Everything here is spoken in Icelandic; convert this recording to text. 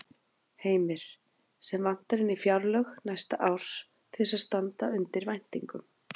Heimir: Sem vantar inn í fjárlög næsta árs til þess að standa undir væntingum?